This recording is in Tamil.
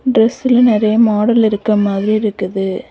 டிரஸ்ல நிறைய மாடல் இருக்கிற மாதிரி இருக்குது.